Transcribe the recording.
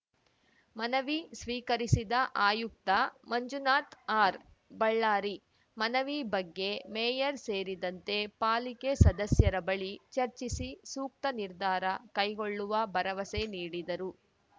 ಮನವಿ ಸ್ವೀಕರಿಸಿದ ಆಯುಕ್ತ ಮಂಜುನಾಥ್ ಆರ್‌ಬಳ್ಳಾರಿ ಮನವಿ ಬಗ್ಗೆ ಮೇಯರ್‌ ಸೇರಿದಂತೆ ಪಾಲಿಕೆ ಸದಸ್ಯರ ಬಳಿ ಚರ್ಚಿಸಿ ಸೂಕ್ತ ನಿರ್ಧಾರ ಕೈಗೊಳ್ಳುವ ಭರವಸೆ ನೀಡಿದರು